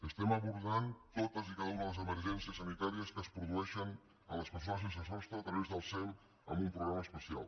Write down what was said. estem abordant totes i cada una de les emergències sanitàries que es produeixen a les persones sense sostre a través del sem amb un programa especial